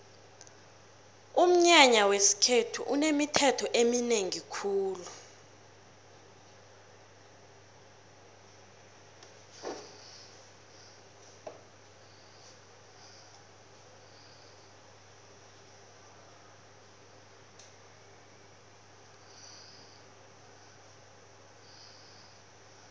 umnyanya wesikhethu unemithetho eminengi khulu